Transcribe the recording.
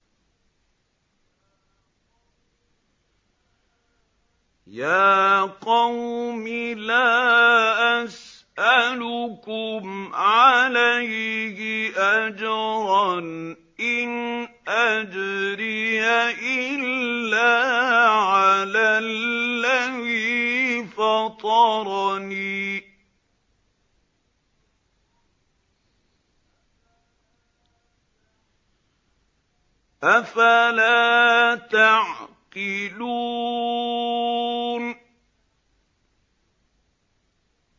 يَا قَوْمِ لَا أَسْأَلُكُمْ عَلَيْهِ أَجْرًا ۖ إِنْ أَجْرِيَ إِلَّا عَلَى الَّذِي فَطَرَنِي ۚ أَفَلَا تَعْقِلُونَ